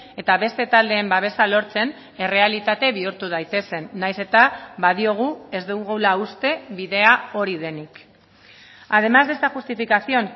eta beste taldeen babesa lortzen errealitate bihurtu daitezen nahiz eta badiogu ez dugula uste bidea hori denik además de esta justificación